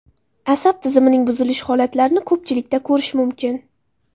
Asab tizimining buzilish holatlarini ko‘pchilikda ko‘rish mumkin.